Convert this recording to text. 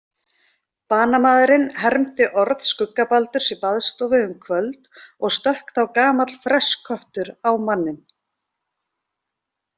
Banamaðurinn hermdi orð skuggabaldurs í baðstofu um kvöld og stökk þá gamall fressköttur á manninn: